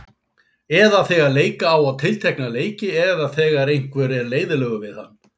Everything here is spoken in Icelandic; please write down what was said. Eða þegar leika á tiltekna leiki eða þegar einhver er leiðinlegur við hann?